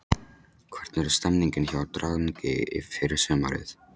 Hvernig er stemningin hjá Drangey fyrir sumarið?